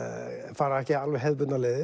fara ekki alveg hefðbundnar leiðir